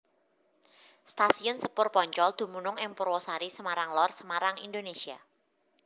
Stasiun sepur Poncol dumunung ing Purwasari Semarang Lor Semarang Indonésia